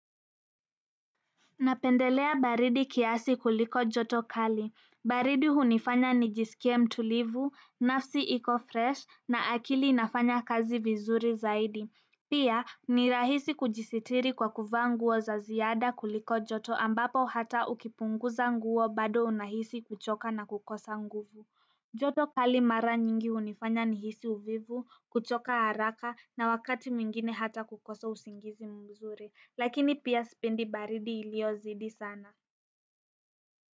Napendelea baridi kiasi kuliko joto kali, baridi hunifanya nijisikie mtulivu, nafsi iko fresh na akili inafanya kazi vizuri zaidi pia ni rahisi kujisitiri kwa kuvaa nguo za ziada kuliko joto ambapo hata ukipunguza nguo bado unahisi kuchoka na kukosa nguvu joto kali mara nyingi hunifanya nihisi uvivu kuchoka haraka na wakati mwingine hata kukosa usingizi mzuri lakini pia sipendi baridi iliyozidi sana.